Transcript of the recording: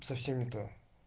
совсем не то